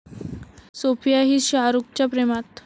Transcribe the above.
सोफिया'ही शाहरूखच्या प्रेमात!